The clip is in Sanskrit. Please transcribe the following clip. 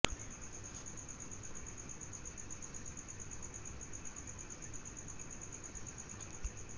भूतैः सदा खेलकमादिनाथं लम्बोदरं तं च वयं नताः स्मः